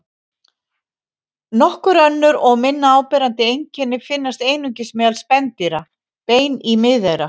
Nokkur önnur og minna áberandi einkenni finnast einungis meðal spendýra: Bein í miðeyra.